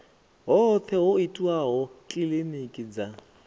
hoṱhe ho itwaho kilinikini dza